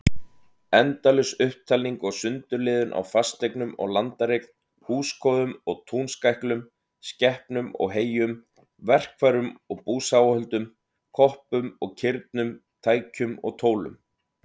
Endalaus upptalning og sundurliðun á fasteignum og landareign, húskofum og túnskæklum, skepnum og heyjum, verkfærum og búsáhöldum, koppum og kirnum, tækjum og tólum.